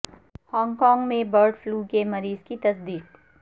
Hong Kong میں bird flu کے مریض کی تصدیق